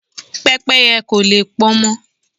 Pẹ́pẹ́yẹ́ kò le pọnmọ.